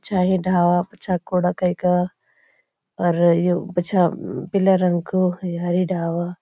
पिछा ये ढाबा पिछा कूड़ा कई का और यु पिछा पीला रंग कु यही ढाबा।